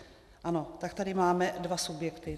Ano, tak tady máme dva subjekty.